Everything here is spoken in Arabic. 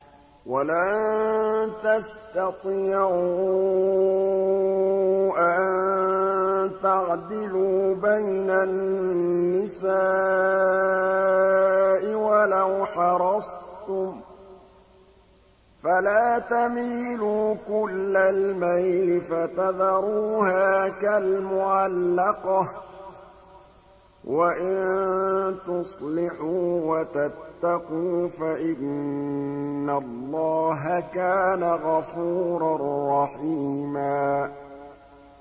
وَلَن تَسْتَطِيعُوا أَن تَعْدِلُوا بَيْنَ النِّسَاءِ وَلَوْ حَرَصْتُمْ ۖ فَلَا تَمِيلُوا كُلَّ الْمَيْلِ فَتَذَرُوهَا كَالْمُعَلَّقَةِ ۚ وَإِن تُصْلِحُوا وَتَتَّقُوا فَإِنَّ اللَّهَ كَانَ غَفُورًا رَّحِيمًا